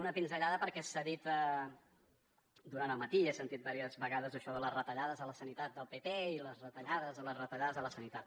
una pinzellada perquè s’ha dit durant el matí he sentit diverses vegades això de les retallades a la sanitat del pp i les retallades a les retallades a la sanitat